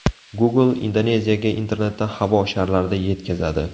Google Indoneziyaga internetni havo sharlarida yetkazadi.